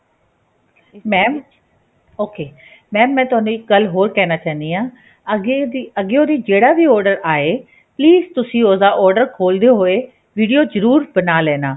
mam ok mam ਮੈਂ ਤੁਹਾਨੂੰ ਇੱਕ ਗੱਲ ਹੋਰ ਕਹਿਣਾ ਚਾਹੁੰਦੀ ਹਾਂ ਅੱਗੇ ਦੀ ਜਿਹੜਾ ਵੀ order ਆਏ please ਤੁਸੀਂ ਉਸ ਦਾ order ਖੋਲਦੇ ਹੋਏ video ਜ਼ਰੂਰ ਬਣਾ ਲੈਣਾ